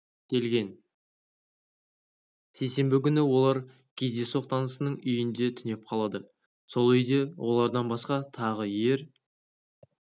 келген сейсенбі күні олар кездейсоқ танысының үйінде түнеп қалады сол үйде олардан басқа тағы ер